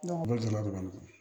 Ne deli la ka